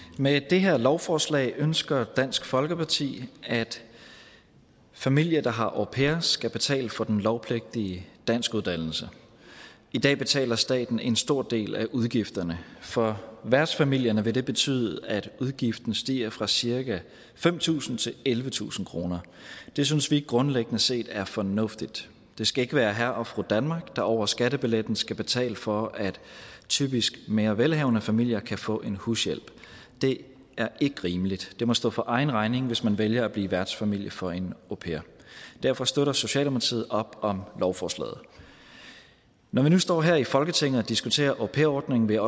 med det her lovforslag ønsker dansk folkeparti at familier der har en au pair skal betale for den lovpligtige danskuddannelse i dag betaler staten en stor del af udgifterne for værtsfamilierne vil det betyde at udgiften stiger fra cirka fem tusind kroner til ellevetusind kroner det synes vi grundlæggende set er fornuftigt det skal ikke være herre og fru danmark der over skattebilletten skal betale for at typisk mere velhavende familier kan få en hushjælp det er ikke rimeligt det må stå for egen regning hvis man vælger at blive værtsfamilie for en au pair derfor støtter socialdemokratiet op om lovforslaget når vi nu står her i folketinget og diskuterer au pair ordningen vil